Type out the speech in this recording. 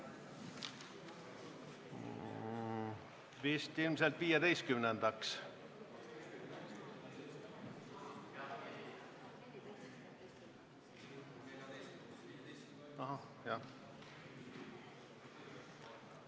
Vist ilmselt 15-ndaks?